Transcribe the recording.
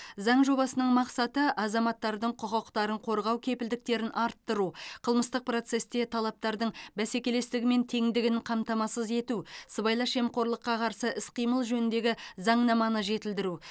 заң жобасының мақсаты азаматтардың құқықтарын қорғау кепілдіктерін арттыру қылмыстық процесте талаптардың бәсекелестігі мен теңдігін қамтамасыз ету сыбайлас жемқорлыққа қарсы іс қимыл жөніндегі заңнаманы жетілдіру